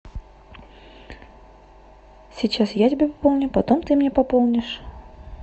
сейчас я тебе пополню потом ты мне пополнишь